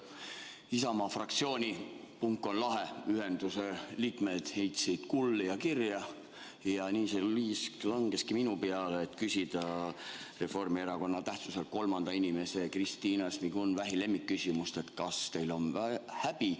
Isamaa fraktsiooni ühenduse "Punk on lahe" liikmed heitsid kulli ja kirja ning minu peale langes liisk küsida Reformierakonna tähtsuselt kolmanda inimese Kristina Šmigun-Vähi lemmikküsimus: kas teil on häbi?